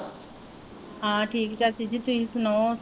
ਹਾਂ ਠੀਕ ਚਾਚੀ ਜੀ ਤੁਸੀਂ ਸੁਣਾਉ,